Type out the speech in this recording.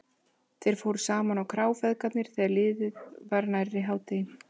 Þeir fóru saman á krá, feðgarnir, þegar liðið var nærri hádegi.